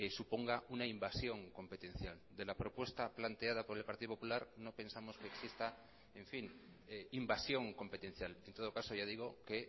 suponga una invasión competencial de la propuesta planteada por el partido popular no pensamos que exista en fin invasión competencial en todo caso ya digo que